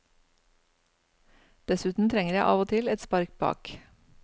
Dessuten trenger jeg av og til et spark bak.